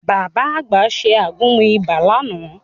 Bàbá àgbà ṣe àgúnmu ibà lánàá